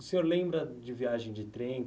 O senhor lembra de viagem de trem?